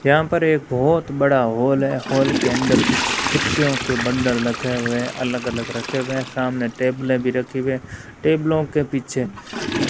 यहां पर एक बहोत बड़ा हॉल है हॉल के अंदर कुछ कुर्सियों के बंडल रखे हुए हैं अलग-अलग रखे हुए हैं सामने टैबले भी रखी हुई है टेबलों के पीछे --